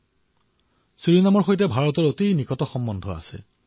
ভাৰতৰ ছুৰিনামৰ সৈতে গভীৰ সম্পৰ্ক আছে